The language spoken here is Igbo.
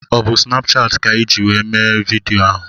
Ọ bụ Snapchati ka iji were mee vidịo ahụ?